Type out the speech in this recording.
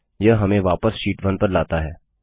यह हमें वापस शीट 1 पर लाता है